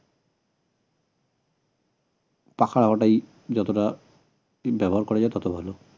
যতটা ব্যবহার করা যায় তত ভালো